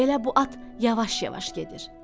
Elə bu at yavaş-yavaş gedir.